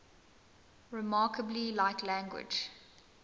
remarkably like language